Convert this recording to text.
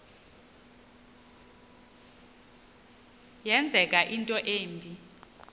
yenzeka into embi